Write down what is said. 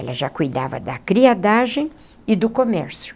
Ela já cuidava da criadagem e do comércio.